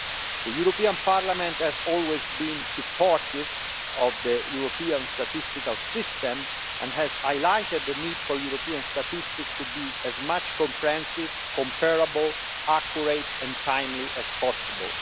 The European Parliament has always been supportive of the European Statistical System and has highlighted the need for European statistics to be as comprehensive, comparable, accurate and timely as possible.